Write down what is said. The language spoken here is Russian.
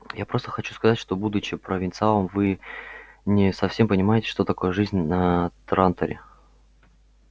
я просто хочу сказать что будучи провинциалом вы не совсем понимаете что такое жизнь на транторе